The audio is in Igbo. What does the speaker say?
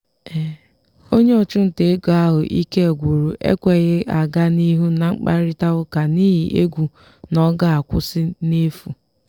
onye ọchụnta ego ahụ ike gwụrụ ekweghị aga n'ihu na mkparịta ụka n'ihi egwu n'ọga akwụsị n'efu.